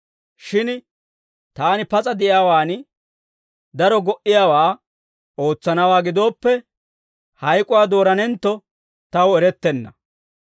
Shin taani pas'a de'iyaawaan daro go"iyaawaa ootsanawaa gidooppe, hak'awaa dooranentto taw erettenna.